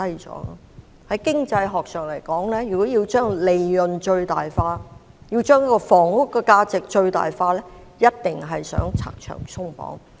在經濟學上來說，如果要把利潤最大化，要把房屋的價值最大化，必定要拆牆鬆綁。